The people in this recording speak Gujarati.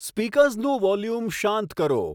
સ્પીકર્સનું વોલ્યુમ શાંત કરો